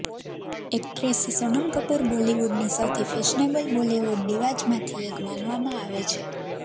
actress Sonam Kapoor બોલિવૂડની સૌથી fashionable Bollywood ડિવાજમાંથી એક માનવામાં આવે છે